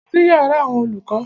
Lọ sí yàrá àwọn olùkọ́!